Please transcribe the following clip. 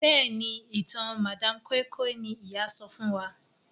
Béèni ìtàn madam koi koi ní ìyá sọfún wón.